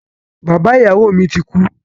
Bàbá ìyàwó mi ti kú.